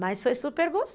Mas foi super gost